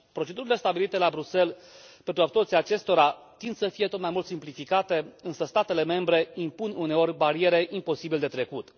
Procedurile stabilite la Bruxelles pentru absorbția acestora tind să fie tot mai mult simplificate, însă statele membre impun uneori bariere imposibil de trecut.